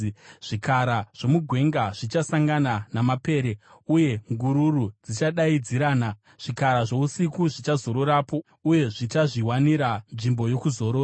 Zvikara zvomugwenga zvichasangana namapere, uye ngururu dzichadaidzirana; zvikara zvousiku zvichazororapo, uye zvichazviwanira nzvimbo yokuzorora.